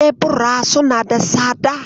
Kebira suna da tsada.